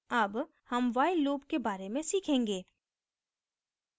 अब हम while loop के बारे में सीखेंगे